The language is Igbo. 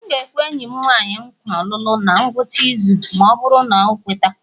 M ga-ekwe enyi m nwanyị nkwa olulu na ngwụcha izu ma ọ bụrụ na ọ kweta